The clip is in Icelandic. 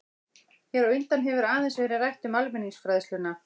Hér á undan hefur aðeins verið rætt um almenningsfræðsluna.